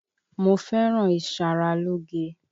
Mo fẹ́ràn ìṣaralóge.